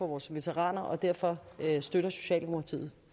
vores veteraner og derfor støtter socialdemokratiet